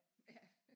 Ja